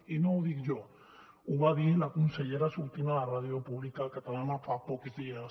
i no ho dic jo ho va dir la consellera sortint a la ràdio pública catalana fa pocs dies